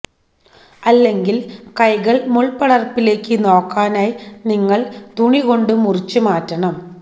അല്ലെങ്കിൽ കൈകൾ മുൾപടർപ്പിലേക്ക് നോക്കാനായി നിങ്ങൾ തുണികൊണ്ടു മുറിച്ചു മാറ്റണം